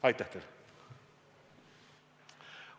Aitäh teile!